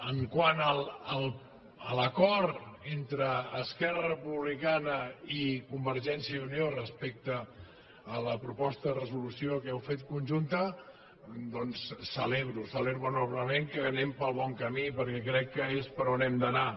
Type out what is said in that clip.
quant a l’acord entre esquerra republicana i convergència i unió respecte a la proposta de resolució que heu fet conjunta doncs ho celebro ho celebro enormement que anem pel bon camí perquè crec que és per on hem d’anar